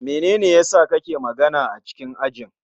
Menene yasa ka ke magana a cikin ajin?